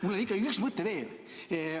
Mul on ikkagi üks mõte veel.